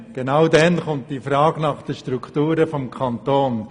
Genau dann stellt sich die Frage nach den Strukturen des Kantons.